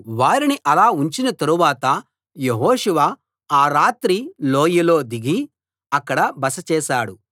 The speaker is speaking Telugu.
వారిని అలా ఉంచిన తరువాత యెహోషువ ఆ రాత్రి లోయలో దిగి అక్కడ బస చేశాడు